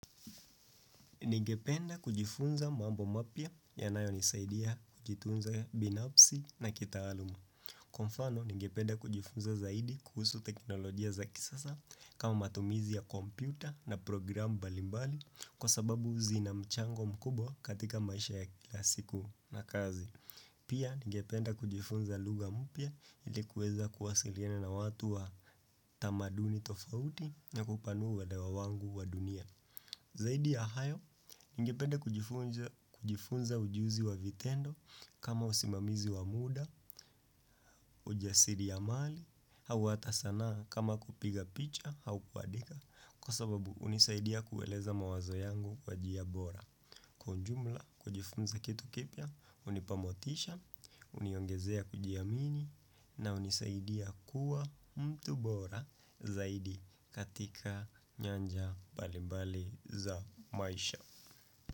Ningependa kujifunza mambo mapya yanayonisaidia kujitunza binafsi na kitaaluma. Kwa mfano, ningependa kujifunza zaidi kuhusu teknolojia za kisasa kama matumizi ya kompyuta na program mbali mbali kwa sababu zina mchango mkubwa katika maisha ya kila siku na kazi. Pia, ningependa kujifunza lugha mpya ili kuweza kuwasiliana na watu wa tamaduni tofauti na kupanua uelewa wangu wa dunia. Zaidi ya hayo, ningependa kujifunza ujuzi wa vitendo kama usimamizi wa muda, ujasiriamali au hata sanaa kama kupiga picha au kuandika kwa sababu hunisaidia kueleza mawazo yangu kwa njia bora. Kwa ujumla hujifunza kitu kipya, hunipa motisha, huniongezea kujiamini na hunisaidia kuwa mtu bora zaidi katika nyanja mbali mbali za maisha.